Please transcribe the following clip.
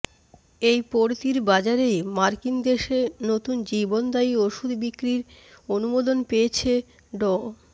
এই পড়তির বাজারেই মার্কিন দেশে নতুন জীবনদায়ী ওষুধ বিক্রির অনুমোদন পেয়েছে ড